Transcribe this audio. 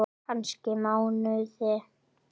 Kannski mánuði!